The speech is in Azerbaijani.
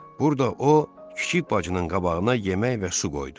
Burda o kiçik bacının qabağına yemək və su qoydu.